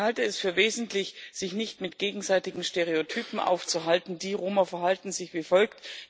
Ich halte es für wesentlich, sich nicht mit gegenseitigen Stereotypen aufzuhalten Die Roma verhalten sich wie folgt.